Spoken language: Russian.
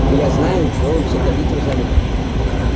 и я знаю чего вы все хотите взамен